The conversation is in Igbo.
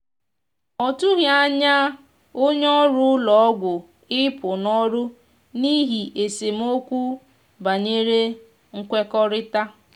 ọ tụghi anya onye ọrụ ụlọ ọgwụ ịpụ n'ọrụ n'ihi esemeokwu banyere nwekorita.